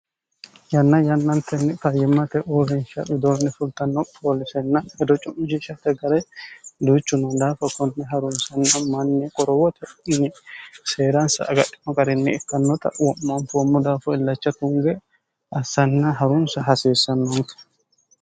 yanna yannantenni fayyimmate oobinsha bidoonni fultanno kooliseenna hedo cu'mjishate gare duuchunnadaa fokkontne harunsanna manni qorowote n seeransa agadhimo garinni ikkannota wo'maanfuommo daafo illacha tunge assanna harunsa hasiissannonte